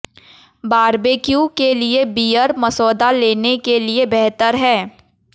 barbecue के लिए beer मसौदा लेने के लिए बेहतर है